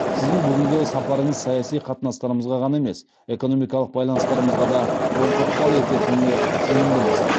сіздің бүгінгі сапарыңыз саяси қатынастарымызға ғана емес экономикалық байланыстарымызға да оң ықпал ететініне сенімдіміз